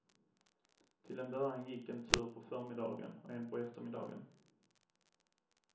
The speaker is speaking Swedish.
Till en början gick en tur på förmiddagen och en på eftermiddagen.